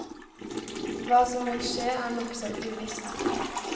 Hva som vil skje er nokså uvisst.